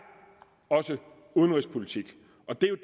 også udenrigspolitik og det